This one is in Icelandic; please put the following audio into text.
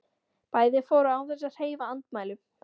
Bæði fóru án þess að hreyfa andmælum.